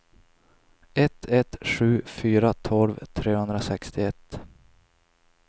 ett ett sju fyra tolv trehundrasextioett